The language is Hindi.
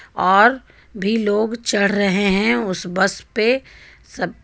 और भी लोग चढ़ रहे हैं उस बस पे सब--